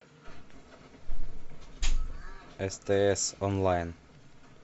стс онлайн